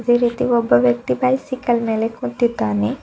ಅದೆ ರೀತಿ ಒಬ್ಬ ವ್ಯಕ್ತಿ ಬೈಸಿಕಲ್ ಮೇಲೆ ಕುಂತಿದ್ದಾನೆ.